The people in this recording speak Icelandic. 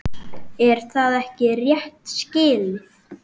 Er það ekki rétt skilið?